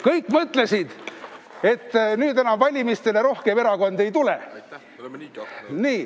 Kõik mõtlesid, et nüüd enam valimistele rohkem erakondi ei tule.